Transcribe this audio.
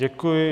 Děkuji.